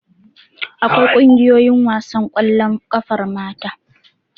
Akwai ƙungiyoyin wasan ƙwallon ƙafar mata.